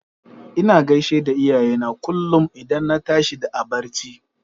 Ina gaishe da iyayena kullum idan na tashi a barci.